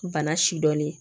Bana sidɔn ye